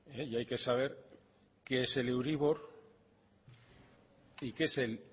y hay que saber qué es el euribor y qué es el